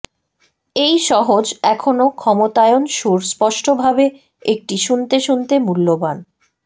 এই সহজ এখনো ক্ষমতায়ন সুর স্পষ্টভাবে একটি শুনতে শুনতে মূল্যবান